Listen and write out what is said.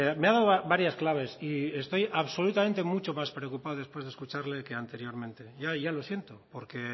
me ha dado varias claves y estoy absolutamente mucho más preocupado después de escucharle que anteriormente yo ya lo siento porque